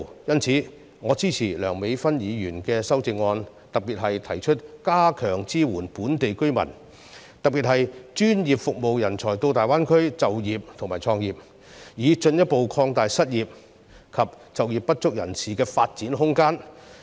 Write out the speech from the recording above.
因此，我支持梁美芬議員的修正案，特別是提出加強支援本地居民，以及專業服務人才到大灣區就業和創業，以進一步擴大失業及就業不足人士的發展空間。